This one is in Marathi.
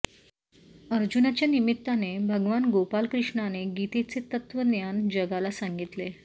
अर्जुनाच्या निमित्ताने भगवान गोपाल कृष्णाने गीतेचे तत्त्वज्ञान जगाला सांगितले